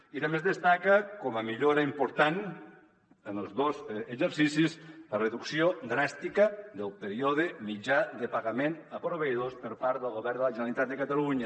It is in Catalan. i també es destaca com a millora important en els dos exercicis la reducció dràstica del període mitjà de pagament a proveïdors per part del govern de la generalitat de catalunya